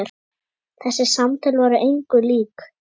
Þessi samtöl voru engu lík.